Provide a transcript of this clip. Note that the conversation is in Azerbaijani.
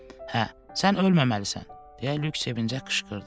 Hə, sən ölməməlisən, deyə Lük sevincə qışqırdı.